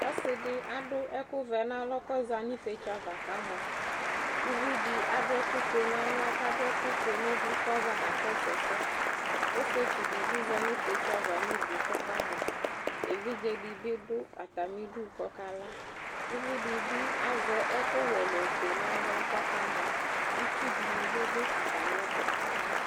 Ɔsɩdɩ adʋ ɛkʋvɛ n'alɔ k'ɔza n'ifiotso ava k'amɔ ; uvidɩ adʋ ɛkʋfue n'aɣla k'adʋ ɛkʋfue n'ʋvʋ k'ɔza kakɔsʋ ɛsɛ Ɔsɩetsu dɩ bɩ za n'ifiotso ava n'udu k'ɔkamɔ, evidze dɩ bɩ dʋ atamidu k'ɔka la ; uvidɩ bɩ azɛ ɛkʋwɛ n'ofue n'aɣla k'ɔkamɔ, itsudɩnɩ bɩ dʋ atamɩɛtʋ